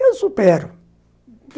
Eu supero, uhum.